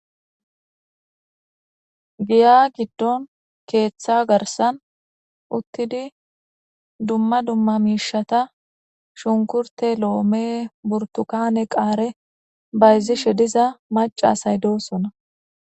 giya giddon keeththa garsan uttidi dumma dumma miishata shunkurte lo7ome burtukane qaare bayzishe diza macasay doosona